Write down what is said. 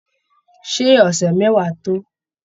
Ṣé ọ̀sẹ̀ mẹ́wàá tó?